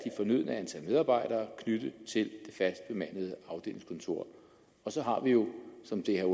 fornødne antal medarbejdere knyttet til et fast bemandet afdelingskontor og så har vi jo som det er